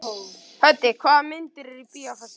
Höddi, hvaða myndir eru í bíó á föstudaginn?